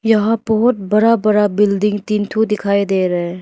यहां बहोत बड़ा बड़ा बिल्डिंग तीन ठो दिखाई दे रहा है।